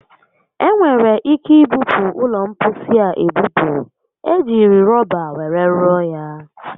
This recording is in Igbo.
Enwere ike ibupu ụlọ mposi a ebupu. E jiri rọba were rụọ ya